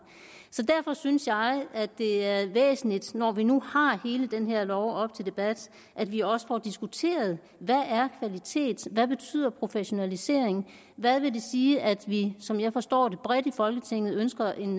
så derfor synes jeg at det er væsentligt når vi nu har hele den her lov op til debat at vi også får diskuteret hvad er kvalitet hvad betyder professionalisering hvad vil det sige at vi som jeg forstår det bredt i folketinget ønsker en